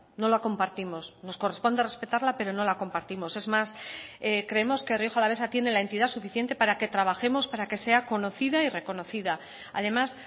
no la compartimos nos corresponde respetarla pero no la compartimos es más creemos que rioja alavesa tiene la entidad suficiente para que trabajemos para que sea conocida y reconocida además